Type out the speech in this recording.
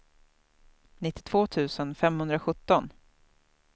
nittiotvå tusen femhundrasjutton